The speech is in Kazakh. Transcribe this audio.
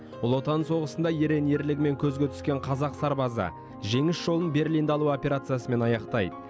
ұлы отан соғысында ерен ерлігімен көзге түскен қазақ сарбазы жеңіс жолын берлинді алу операциясымен аяқтайды